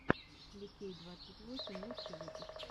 ликей двадцать восемь лучший выпуск